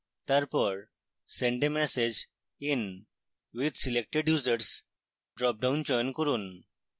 তারপর send a message in with selected users dropdown চয়ন করুন